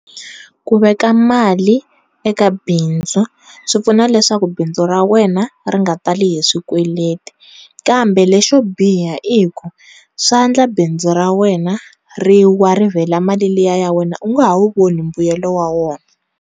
Ku veka mali eka bindzu swipfuna leswaku bindzu ra wena ri nga tali hi swikweleti kambe lexo biha i ku swandla bindzu ra wena ri wa ri vhela mali liya ya wena u nga ha wu voni mbuyelo wa rona.